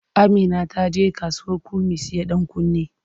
Amina ta je kasuwar kurmi siyo ɗankunne.